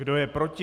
Kdo je proti?